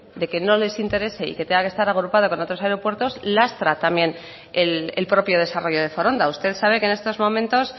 de que no les interese y que tenga que estar agrupada con otros aeropuertos lastra también el propio desarrollo de foronda usted sabe que en estos momentos